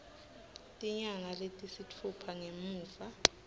tinyanga letisitfupha ngemuva